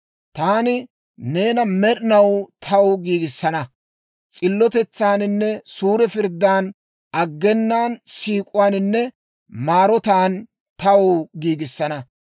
«Taani neena med'inaw taw giigissana; s'illotetsaaninne suure pirddan, aggena siik'uwaaninne maarotaan taw giigissana;